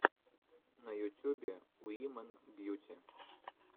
на ютюбе уимэн бьюти